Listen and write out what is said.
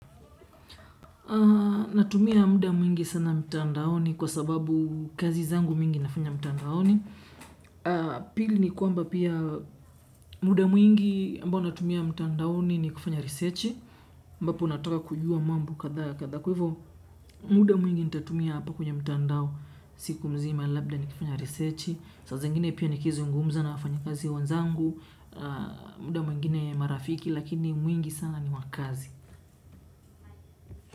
Natumia muda mwingi sana mtandaoni kwa sababu kazi zangu mingi nafanya mtandaoni. Pili ni kwamba pia muda mwingi ambao natumia mtandaoni ni kufanya risechi. Ambapo nataka kujua mambo kadhaa ya kadhaa, kwa hivyo muda mwingi nitatumia hapa kwenye mtandao. Siku mzima labda ni kufanya risechi. Saa zingine pia nikizungumza na wafanyakazi wenzangu, muda mwingine marafiki lakini mwingi sana ni wa kazi.